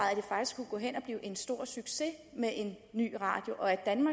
blive en stor succes med en ny radiokanal og